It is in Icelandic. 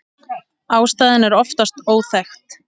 Ástæðan er oftast óþekkt.